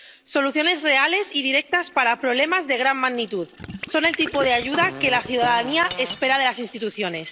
Soluciones reales y directas para problemas de gran magnitud son el tipo de ayuda que la ciudadanía espera de las instituciones.